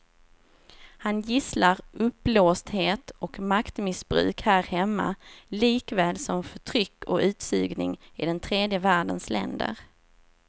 Han gisslar uppblåsthet och maktmissbruk här hemma likaväl som förtryck och utsugning i den tredje världens länder.